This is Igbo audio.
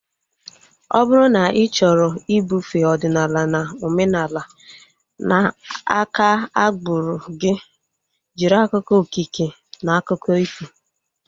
Ọ bụrụ na ị chọrọ ibufee ọdịnala na omenala na aka agbụrụ gị, jiri akụkọ okike na akụkọ ifo